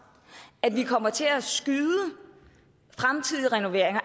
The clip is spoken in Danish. at vi kommer til at skyde fremtidige renoveringer